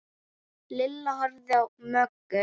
Lilla horfði á Möggu.